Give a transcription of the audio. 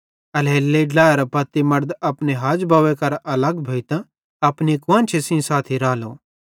एल्हेरेलेइ ड्लाएरे पत्ती मड़द अपने हाजबव्वे केरां अलग भोइतां अपनी कुआन्शी सेइं साथी रालो